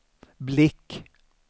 blick